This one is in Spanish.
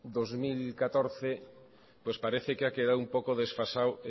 dos mil catorce pues parece que ha quedado un poco desfasado